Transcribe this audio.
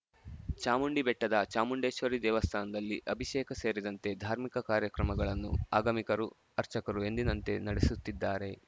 ಚಾಮುಂಡಿಬೆಟ್ಟದ ಚಾಮುಂಡೇಶ್ವರಿ ದೇವಸ್ಥಾನದಲ್ಲಿ ಅಭಿಷೇಕ ಸೇರಿದಂತೆ ಧಾರ್ಮಿಕ ಕಾರ್ಯಕ್ರಮ ಗಳನ್ನು ಆಗಮಿಕರು ಅರ್ಚಕರು ಎಂದಿನಂತೆ ನಡೆಸುತ್ತಿದ್ದಾರೆ